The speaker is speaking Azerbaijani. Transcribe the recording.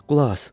Qulaq as.